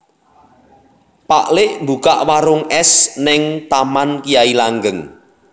Pak lik mbukak warung es ning Taman Kyai Langgeng